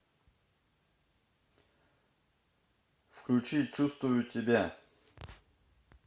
включи чувствую тебя